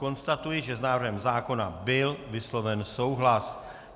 Konstatuji, že s návrhem zákona byl vysloven souhlas.